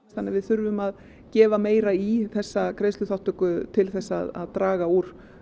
þannig að við þurfum að gefa meira í þessa greiðsluþátttöku til þess að draga úr